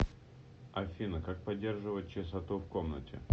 афина как поддерживать чистоту в комнате